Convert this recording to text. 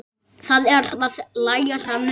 Það er að læra nudd.